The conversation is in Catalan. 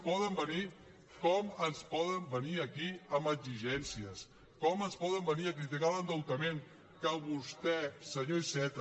poden venir aquí amb exigències com ens poden venir a criticar l’endeutament que vostè senyor iceta